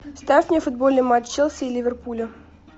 ставь мне футбольный матч челси и ливерпуля